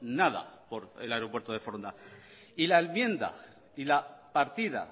nada por el aeropuerto de foronda y la enmienda y la partida